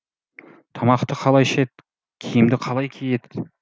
тамақты қалай ішеді киімді қалай киеді